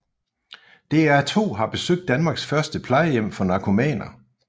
DR2 har besøgt Danmarks første plejehjem for narkomaner